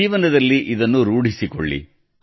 ಜೀವನದಲ್ಲಿ ಇದನ್ನು ರೂಢಿಸಿಕೊಳ್ಳಿ